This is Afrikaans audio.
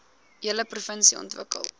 hele provinsie ontwikkel